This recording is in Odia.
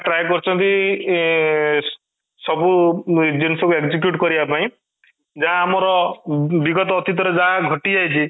try କରୁଛନ୍ତି ଉମ ଇୟେ ସବୁ ଜିଣିଷ କୁ execute କରିବା ପାଇଁ ଯାହା ଆମର ବିଗତ ଅତୀତ ରେ ଘଟିଯାଇଛି